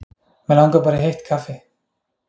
mig langar bara í heitt kaffi